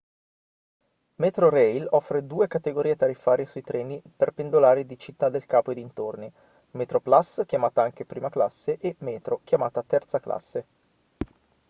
metrorail offre due categorie tariffarie sui treni per pendolari di città del capo e dintorni: metroplus chiamata anche prima classe e metro chiamata terza classe